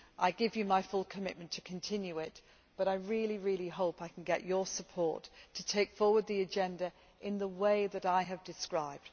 to do. I give you my full commitment to continue it, but I really hope I can get your support to take forward the agenda in the way that I have described.